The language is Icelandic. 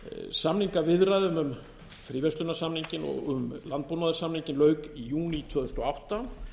samningaviðræðum um fríverslunarsamninginn og um landbúnaðarsamninginn lauk í júní tvö þúsund og átta